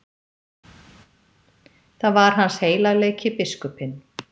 Það var hans heilagleiki, biskupinn.